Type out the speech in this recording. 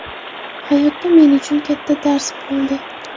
Hayotda men uchun katta dars bo‘ldi.